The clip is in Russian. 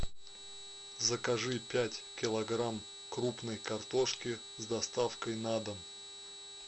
закажи пять килограмм крупной картошки с доставкой на дом